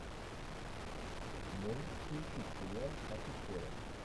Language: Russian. можешь включить сериал офицеры